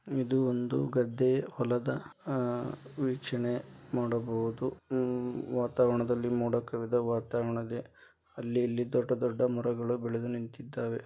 ಇದು ಒಂದು ಗದ್ದೆ ಹೊಲದ ಅಹ್ ವೀಕ್ಷಣೆ ನೋಡಬಹುದು ಉಹ್ ವಾತಾವರಣದಲ್ಲಿ ಮೋಡ ಕವಿದ ವಾತಾವರಣ ಇದೆ. ಅಲ್ಲಿ ಇಲ್ಲಿ ದೊಡ್ಡ ದೊಡ್ಡ ಮರಗಳು ಬೆಳೆದು ನಿಂತ್ತಿದವೆ.